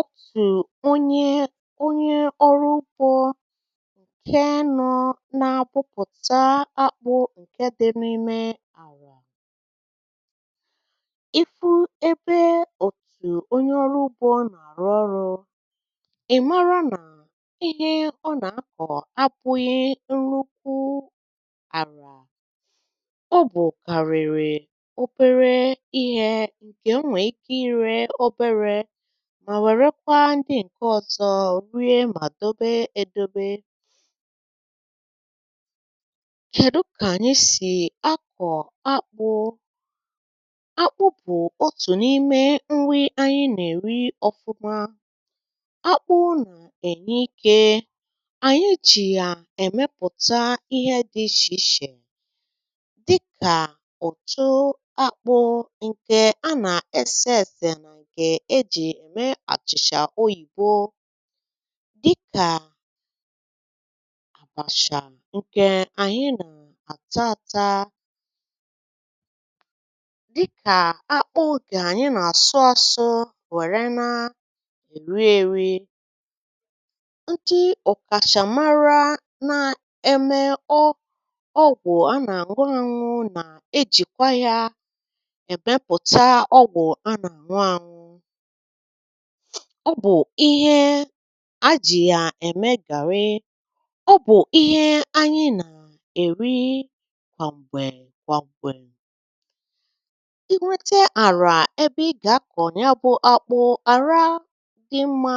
Otu Onye Ọrụ Ugbo Si Kụ Akpụ Nke ọma Onye ọrụ ugbo nọ n’ala bụ onye na-akụ akpụ, nke chọrọ ala dị mma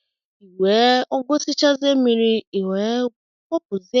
ma nwee oghere zuru oke. Onye ọzọ nọ n’ebe ugbo ahụ na-arụ ọrụ maara na ihe ọ na-eme abụghị ibu ala kama bụ ịrụ ọrụ n’ụzọ dị mma ka onye ọ bụla sonyere nweta uru nke ọma. Akpụ, nke anyị na-eri ma na-eji n’ụzọ dị iche iche, bụ otu n’ime nri anyị kachasị mkpa nke na-enye ike anyị ji eme ihe dị iche iche. Site n’akpụ, a na-emepụta ọtụtụ ihe dị iche iche dịka ntụ ọka akpụ nke a na-eji esi nri dị iche iche dịka akpụ pounded ma ọ bụ̀ achịcha akpụ, um tinyere ihe ndị a na-ata dịka achịcha oyibo ma ọ bụ̀ ihe ụtọ ndị ọzọ anyị na-eri mgbe anyị na-ekwurịta okwu. A na-ejikwa akpụ eme ọgwụ. N’ezie, e nwere ọgwụ ndị e ji akpụ na ụfọdụ ahịhịa obodo kwadebe. uh A na-ejikwakwa ya eme garri, nke bụ otu n’ime nri kacha ewu ewu n’obodo anyị. Mgbe ịchọrọ ịkụ akpụ, uh akpụ kacha mma bụ nke osisi ya dị mma ma tozuru etozu. Ị ga-ehicha ha ma bee ha nke ọma tupu ịkụ. Ị kwesịrị ịmata otú e si họrọ osisi akpụ dị mma ma kwadebe ala ị ga-akụ ha n’ime ya. Jide n’aka na i wepụrụ ahịhịa niile ma sachaa ala nke ọma tupu ịmalite ịkụ. Mkpụrụ osisi akpụ ị ga-akụ ga-abụ nke e gburu n’otu nha, n’ụzọ dịkwa mma. Mgbe ị na-akụ, jide n’aka na e tinyere osisi akpụ ahụ nke ọma n’ala ,ọ bụghị nke miri anya nke ukwuu ma ọ bụ̀ nke dị elu oke ma gosi na etinyere ya n’ọnọdụ ziri ezi, n’akụkụ kwụ ọtọ ma ọ bụ̀ ntakịrị n’ọnụ ụzọ. Ekwela ịkụ n’ala siri ike ma ọ bụ̀ n’ala nkume, n’ihi na akpụ adịghị eto nke ọma ebe dị otu a. Mgbe e gbachara akpụ n’ala, kpuchie ya ntakịrị ka ọ wee nwee ike ito nke ọma. Ekwela ka ala kpọọ nkụ ogologo oge; o kwesịrị ịdị mmiri mmiri ka akpụ nwee ike ịpụ n’ala nke ọma. Ka akpụ na-etolite, sachapụ ahịhịa ugbo mgbe niile ma hụ na anụmanụ ma ọ bụ̀ pests adịghị emebi ya. Mgbe o ruru ọnwa isii, ị ga-achọpụta na akpụ amalitela ịkụpụta n’okpuru ala. Ị nwere ike ịkụpụta ya mgbe osisi amalitela ịka nkụ ma ọ bụ̀ mgbe akwụkwọ amalitela ịcha odo. uh Gbuo akpụ nwayọ nwayọ ka mkpụrụ ya ghara ịgbaji. Sachaa ha nke ọma, saa ha nke ọma, ma kwadebe ha dịka ihe ị chọrọ ime ma ọ bụ garri, fufu, starch, ma ọ bụ̀ ntụ ọka akpụ. Ọ bụrụ na ịchọrọ ime garri, uh ihichaa akpụ ahụ, saa ya, kpọọ ya n’ụzọ dị mma, wepụ mmiri dị n’ime ya. Mgbe ahụ, hapụ ya ka ọ gbaa ume ụbọchị ole na ole tupu esi ya n’ite ukwu. um Mgbe ị na-esi, na-agagharị ya mgbe niile ruo mgbe ọ kpọrọ nkụ ma bụrụ aja aja. Mgbe ọ kpọrọ nkụ, jụọ ya oyi ma tinye ya n’akpa dị ọcha. Ọ bụrụ na ịchọrọ ime fufu ma ọ bụ̀ starch, soro otu usoro ahụ, ma tụnye ya n’ime mmiri ma hapụ ya ka ọ gbaa ume ogologo oge tupu i sievee ma sie ya. Mmiri ị ga-eji ga-adị ọcha. Mgbe ịsịrị ya, ị nwere ike ịkwakọba ya ma ọ bụ debe ya n’ebe oyi na akọrọ. A na-ejikwakwa akpụ eme ihe a na-akpọ chips. Bee akpụ ahụ nke nta nke nta, kpọọ ya n’ìhè anyanwụ ka ọ kpọọ nkụ, ma esi ya ma ọ bụ̀ kpọọ ya n’ụzọ ịchọrọ. A na-ere ihe ndị a n’ahịa, ma ọ bụrụ na e mepụtara ha nke ọma, akpụ ahụ na-anọgide ọcha, ọhụrụ, ma dị mma. Akpụ bụ ezigbo ihe ubi bara uru. Enweghị ihe ọ bụla na-akpụ a na-apụ n’efu site n’akụkụ ya ruo n’akpụkpọ ya. Nke a bụ ihe kpatara na anyị na-asị na n’ọrụ ugbo, akpụ bụ otu n’ime ihe ubi kachasị baa uru. uh Ọ na-eweta ego, na-enyere ezinụlọ aka, ma bụrụ ihe isi ike n’ọrụ onye ọrụ ugbo. Ya mere, enweghị ihe ọ bụla n’ọrụ ugbo a ga-eleghara anya. Ihe ubi ọ bụla, gụnyere akpụ, kwesịrị ilekọta nke ọma, n’ihi na ọrụ ugbo bụ isi ndụ na isi akụ nke mmadụ.